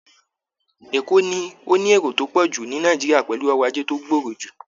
Èkó ni ó ní èrò tó pọ̀ jù ní Nàìjíríà pẹ̀lú ọrọ̀ajé tó gbòòrò jù